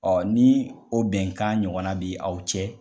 ni o bɛnkan ɲɔgɔn na bi aw cɛ.